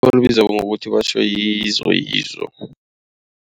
Bayibiza ngokuthi batjho yiYizo Yizo.